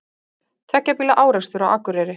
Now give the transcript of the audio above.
Tveggja bíla árekstur á Akureyri